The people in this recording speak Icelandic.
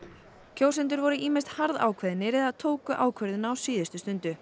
kjósendur voru ýmist harðákveðnir eða tóku ákvörðun á síðustu stundu